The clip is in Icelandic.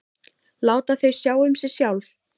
Láta þau sjá um sig sjálf.